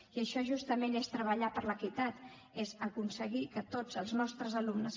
i això justament és treballar per l’equitat és aconseguir que tots els nostres alumnes